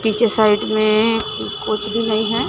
पीछे साइड में भी नहीं है।